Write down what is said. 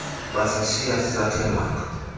basishiya sisathe manga